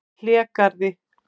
Hlégarði